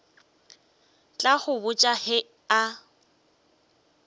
tla go botša ge a